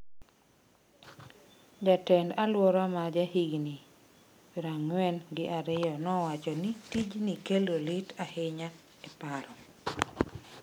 Jatend-alwora ma ja higni prang'wen gi ariyo nowacho ni tichni kelo lit ahinya e paro.